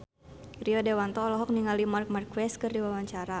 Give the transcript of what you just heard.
Rio Dewanto olohok ningali Marc Marquez keur diwawancara